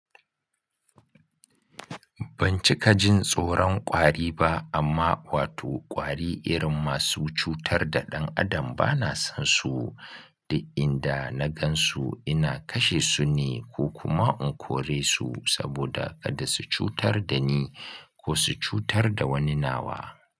Ban cika jin tsoron ƙwari ba amma wato ƙwari irin masu cutar da ɗan adam bana son su. Du inda na gan su ina kashe su ne ko kuma in kore su saboda kada su cutar da ni ko su cutar da wani nawa.